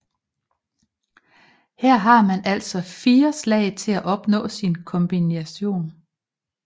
Her har man altså 4 slag til at opnå sin kombination